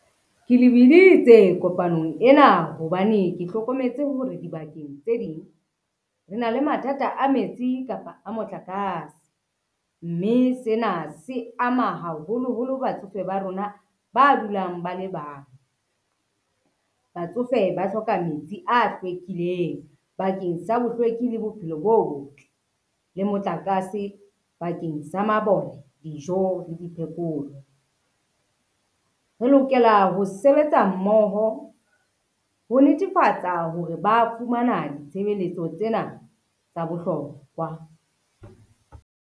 Ke lebiditse kopanong ena hobane ke hlokometse hore dibakeng tse ding, re na le mathata a metsi kapa motlakase, mme sena se ama haholoholo batsofe ba rona ba dulang ba le bang. Batsofe ba hloka metsi a hlwekileng bakeng sa bohlweki le bophelo bo botle le motlakase bakeng sa mabone, dijo le di phekolo. Re lokela ho sebetsa mmoho ho netefatsa hore ba fumana ditshebeletso tsena tsa bohlokwa.